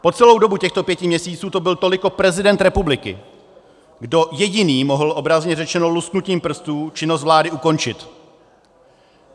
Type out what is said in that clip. Po celou dobu těchto pěti měsíců to byl toliko prezident republiky, kdo jediný mohl, obrazně řečeno, lusknutím prstů činnost vlády ukončit.